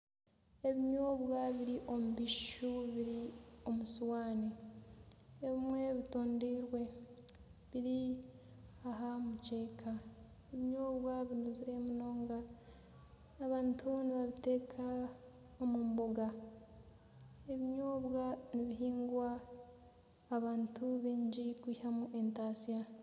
Ebinyobwa biri omu bishushu biri omu sowaani, ebimwe bitondoirwe biri aha mukyeka. Ebinyobwa binuzire munonga, abantu nibabiteeka omu mboga. Ebinyobwa nibihingwa abantu baingi kwihamu entaatsya.